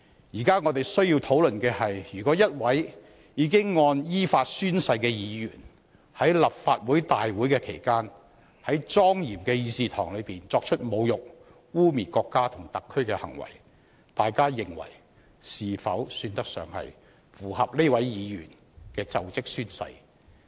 現時我們需要討論的是，如果一位已依法宣誓的議員在立法會大會期間，在莊嚴的議事堂作出侮辱、污衊國家和特區的行為，大家認為是否算得上符合這位議員的就職宣誓？